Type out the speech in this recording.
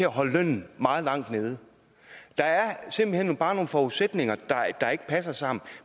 at holde lønnen meget langt nede der er simpelt hen bare nogle forudsætninger der ikke passer sammen